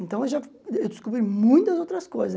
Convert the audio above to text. Então eu já descobri muitas outras coisas.